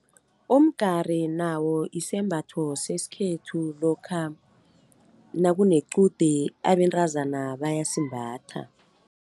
Umgari nawo isembatho sesikhethu, lokha nakunequde abentazana bayasimbatha.